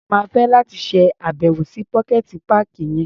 Mo máa fẹ́ láti ṣá̀bẹ̀wò sí pocket páàkì yẹn.